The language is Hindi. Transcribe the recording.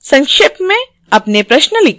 संक्षेप में अपने प्रश्न लिखें